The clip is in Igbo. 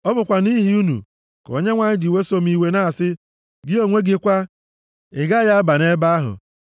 Ọ bụkwa nʼihi unu ka Onyenwe anyị ji weso m iwe, na-asị, “Gị onwe gị kwa, ị gaghị aba nʼebe ahụ!